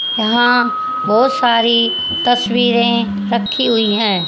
यहां बहोत सारी तस्वीरें रखी हुई है।